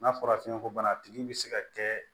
N'a fɔra fiɲɛko bana tigi bɛ se ka kɛ